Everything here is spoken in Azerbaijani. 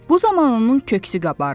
Bu zaman onun köksü qabardı.